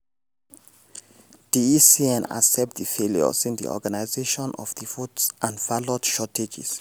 di ecn accept di failures in the organisation of di votes and ballot shortages.